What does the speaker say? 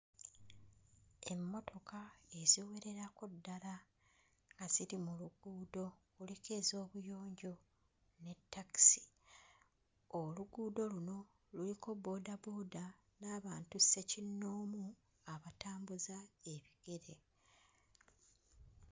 Emmotoka eziwererako ddala nga ziri mu luguudo, kuliko ez'obuyonjo ne takisi. Oluguudo luno luliko bboodabooda n'abantu ssekinnoomu abatambuza ebigere.